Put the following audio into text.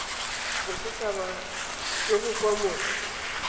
bosethaba jo bo kwa mose